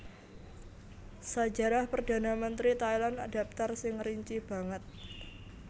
Sajarah Perdhana Mentri Thailand dhaptar sing rinci banget